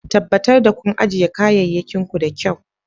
Tabbatar da kun ajiye kayayyakin ku da kyau.